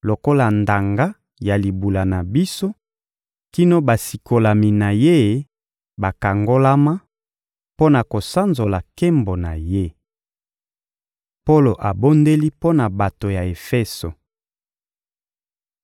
lokola ndanga ya libula na biso kino basikolami na Ye bakangolama mpo na kosanzola nkembo na Ye. Polo abondeli mpo na bato ya Efeso